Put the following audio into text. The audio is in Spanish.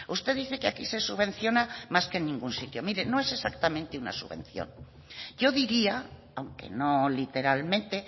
usted dice que aquí se subvenciona más que en ningún sitio miren no es exactamente una subvención yo diría aunque no literalmente